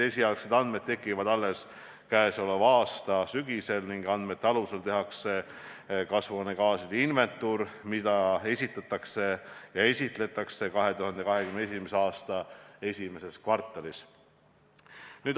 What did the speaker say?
Esialgsed andmed saadakse alles käesoleva aasta sügisel ning andmete alusel tehakse kasvuhoonegaaside inventuur, mida esitletakse 2021. aasta esimeses kvartalis.